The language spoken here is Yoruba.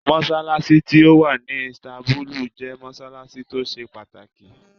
Mossalassi ti owạ ni Istanbulu jẹ mossalassi to se pataki